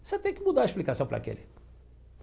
Você tem que mudar a explicação para aquele.